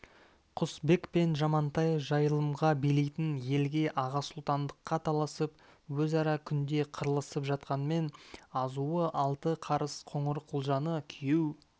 құсбек пен жамантай жайылымға билейтін елге аға сұлтандыққа таласып өзара күнде қырылысып жатқанмен азуы алты қарыс қоңырқұлжаны күйеу